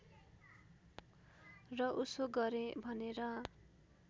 र उसो गरेँ भनेर